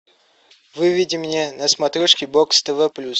выведи мне на смотрешке бокс тв плюс